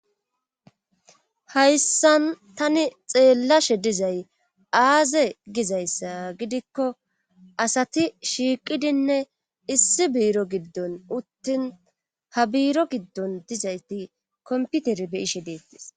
Hayssan tani xeelashe dizay aaze gizayssa gidikko asati shiiqidinne issi biiro giddon uttin ha biiro giddon dizayti komppitere be7ishe deettes.